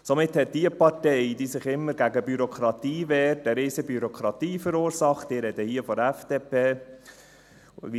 Somit hat jene Partei, die sich immer gegen die Bürokratie wehrt, eine riesige Bürokratie verursacht, wie Ruedi Löffel auch schon erwähnt hat.